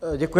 Děkuji.